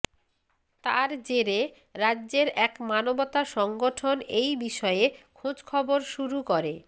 তার জেরে রাজ্যের এক মানবতা সংগঠন এই বিষয়ে খোঁজখবর শুরু করে